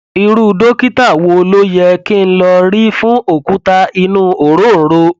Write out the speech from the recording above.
irú dókítà wo ló yẹ kí n lọ rí fún òkúta inú òróǹro